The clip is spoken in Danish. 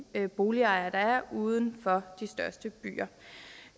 boligejere der er uden for de største byer